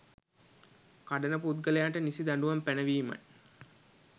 කඩන පුද්ගලයන්ට නිසි දඬුවම් පැනවීමයි